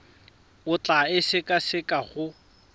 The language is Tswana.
o tla e sekaseka go